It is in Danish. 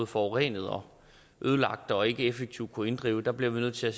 forurenet og ødelagt og ikke effektivt kunnet inddrive der bliver vi nødt til at